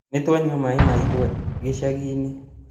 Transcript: Nĩtwanyua mai ma igwa gĩcagi-inĩ